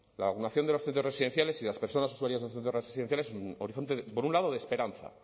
la vacunación de los centros residenciales y de las personas usuarias de centros residenciales es un horizonte por un lado de esperanza